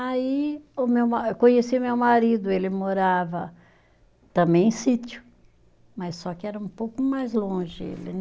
Aí o meu ma, eu conheci meu marido, ele morava também em sítio, mas só que era um pouco mais longe ele